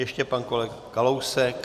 Ještě pan kolega Kalousek.